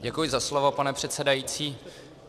Děkuji za slovo, pane předsedající.